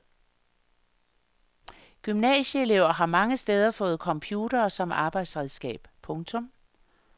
Gymnasieelever har mange steder fået computere som arbejdsredskab. punktum